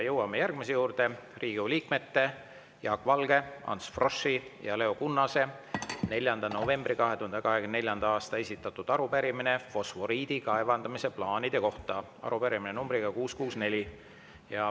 Jõuame järgmise juurde: Riigikogu liikmete Jaak Valge, Ants Froschi ja Leo Kunnase 4. novembril 2024. aastal esitatud arupärimine fosforiidi kaevandamise plaanide kohta, arupärimine nr 664.